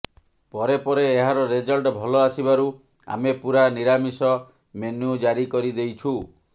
ପରେ ପରେ ଏହାର ରେଜଲ୍ଟ ଭଲ ଆସିବାରୁ ଆମେ ପୁରା ନିରାମିଷ ମେନ୍ୟୁ ଜାରୀ କରିଦେଇଛୁ